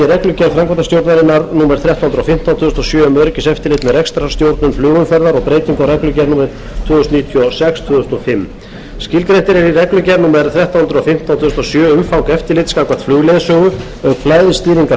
reglugerð framkvæmdastjórnarinnar númer þrettán hundruð og fimmtán tvö þúsund og sjö um öryggiseftirlit með rekstrarstjórnun flugumferðar og um breytingu á reglugerð númer tvö þúsund og níutíu og sex tvö þúsund og fimm skilgreint er í reglugerð númer þrettán hundruð og fimmtán tvö þúsund og sjö umfang eftirlits gagnvart flugleiðsögu auk flæðisstýringar